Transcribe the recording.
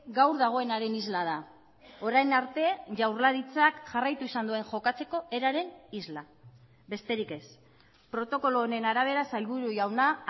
gaur dagoenaren isla da orain arte jaurlaritzak jarraitu izan duen jokatzeko eraren isla besterik ez protokolo honen arabera sailburu jauna